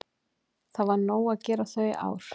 Það var nóg að gera þau ár.